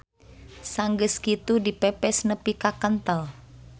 Sanggeus kitu dipepes nepi ka kentel.